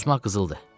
Susmaq qızıldır.